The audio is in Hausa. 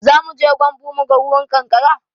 Zamuje gyambu muga ruwan ƙanƙara